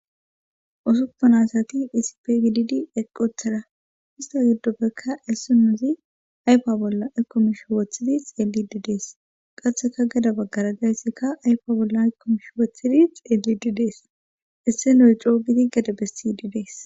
Usuppan asati isip gididi eqqothara histo giddoppekka essunuzi ayfa bolla ekkomish woothidi xeeli didees qatheka gada baggarazayssikka ayfa bolla ykomish woothidi xeelidi dees isse noy coogiti gede bessididees.